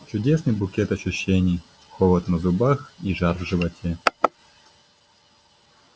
чудесный букет ощущений холод на зубах и жар в животе